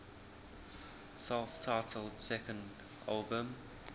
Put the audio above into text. self titled second album